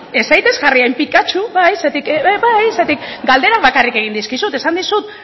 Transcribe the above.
ez zaitez jarri hain pikatxu bai zergatik galderak bakarrik egin dizkizut esan dizut